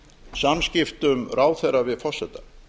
samskiptum ráðherra við forseta